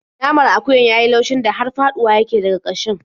Naman akuyar ya yi laushin da har faɗuwa yake daga ƙashin.